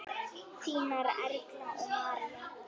Þínar Erla og María.